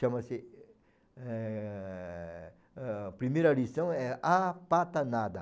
Chama-se eh eh... A primeira lição é A Pata Nada.